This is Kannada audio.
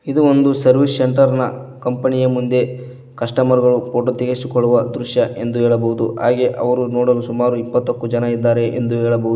ಇದು ಒಂದು ಸರ್ವಿಸ್ ಸೆಂಟರ್ ನ ಕಂಪನಿ ಯ ಮುಂದೆ ಕಸ್ಟಮರ್ ಗಳು ಫೋಟೋ ತೆಗೆಸಿಕೊಳ್ಳುವ ದೃಶ್ಯ ಎಂದು ಹೇಳಬಹುದು ಹಾಗೆ ಅವರು ನೋಡಲು ಸುಮಾರು ಇಪ್ಪತ್ತಕ್ಕೂ ಜನ ಇದ್ದಾರೆ ಎಂದು ಹೇಳಬಹು--